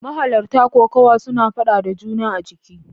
Mahalarta kokawa suna fada da juna a jiki.